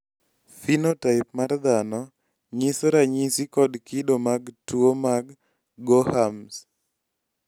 phenotype mar dhano nyiso ranyisi kod kido mag tuwo mar gorhams